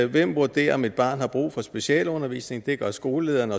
hvem vurderer om et barn har brug for specialundervisning det gør skolelederen